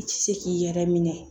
I tɛ se k'i yɛrɛ minɛ